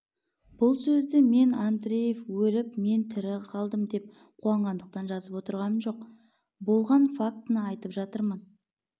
бұл сөзді мен андреев өліп мен тірі қалдым деп қуанғандықтан жазып отырғам жоқ болған фактыны айтып жатырмын